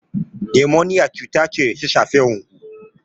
Nimoniya cuta ce da ta shafi hunhu.